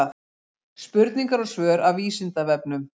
Spurningar og svör af Vísindavefnum.